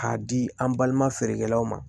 K'a di an balima feerekɛlaw ma